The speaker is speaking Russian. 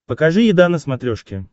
покажи еда на смотрешке